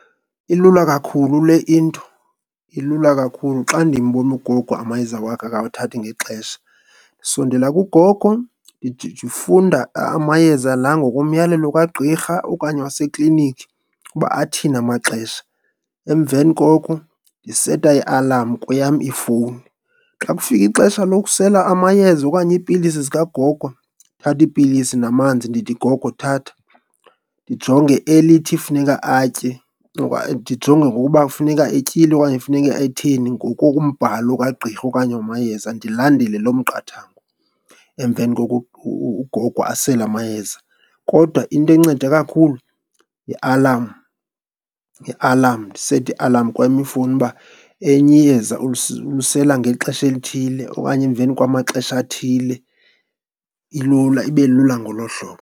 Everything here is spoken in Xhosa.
Ilula kakhulu le into, ilula kakhulu. Xa ndimbona ugogo amayeza wakhe akawathathi ngexesha, ndisondela kugogo ndifunda amayeza la ngokomyalelo kagqirha okanye waseklinikhi ukuba athini amaxesha, emveni koko ndiseta i-alarm kweyam ifowuni. Xa kufika ixesha lokusela amayeza okanye iipilisi zikagogo, ndithatha iipilisi namanzi ndithi, gogo thatha. Ndijonge elithi funeka atye oknaye ndijonge ngokuba funeka etyile okanye funeka etheni ngokokumbhalo kagqirha okanye wamayeza ndilandele loo miqathango, emveni koko ugogo asele amayeza. Kodwa into enceda kakhulu yi-alarm, yi-alarm. Ndisete i-alarm kweyam ifowuni uba elinye iyeza ulisela ngexesha elithile okanye emveni kwamaxesha athile, ilula. Ibe lula ngolo hlobo.